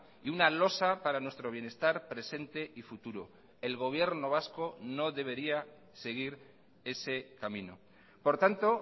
y una losa para nuestro bienestar presente y futuro el gobierno vasco no debería seguir ese camino por tanto